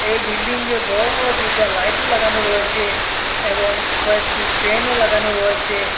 এই বিল্ডিংগে বড় বড় দুইটা লাইটও লাগানো রয়েছে এবং কয়েকটি ফ্যানও লাগানো রয়েছে।